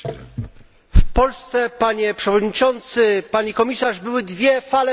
W Polsce, Panie Przewodniczący, Pani Komisarz, były dwie fale powodzi.